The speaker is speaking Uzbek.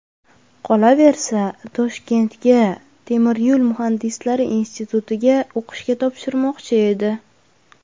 Qolaversa, Toshkentga Temir yo‘l muhandislari institutiga o‘qishga topshirmoqchi edi.